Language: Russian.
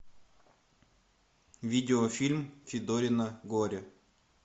видеофильм федорино горе